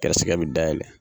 Kɛrɛsɛgɛ bɛ dayɛlɛn.